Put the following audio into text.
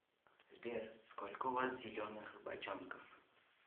сбер сколько у вас зеленых бочонков